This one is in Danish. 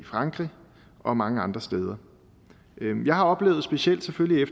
frankrig og mange andre steder jeg har selvfølgelig